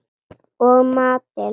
Og matinn